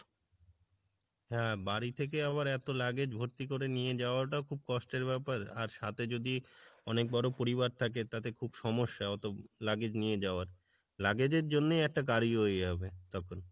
হ্যাঁ বাড়ি থেকে আবার এত luggage ভর্তি করে নিয়ে যাওয়া টা খুব কষ্টের ব্যাপার আর সাথে যদি অনেক বড় পরিবার থাকে তাতে খুব সমস্যা হত luggage নিয়ে যাওয়ার, luggage এর জন্যেই একটা গাড়ি হয়ে যাবে তখন।